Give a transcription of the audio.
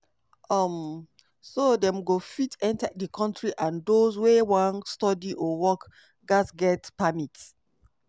um so dem go fit enta di kontri and dose wey wan study or work gatz get permit.